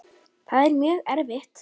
Það er mjög erfitt.